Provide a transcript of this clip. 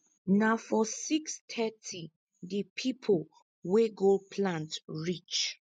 na for six thirty di pipo wey go plant reach